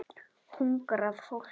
Hungrað fólk.